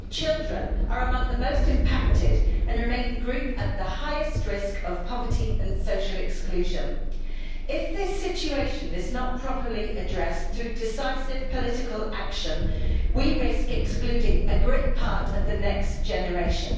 Children are among the most impacted and remain the group at the highest risk of poverty and social exclusion. If this situation is not properly addressed through decisive political action, we risk excluding a great part of the next generation.